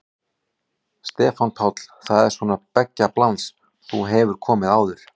Stefán Páll: Það er svona beggja blands, þú hefur komið áður?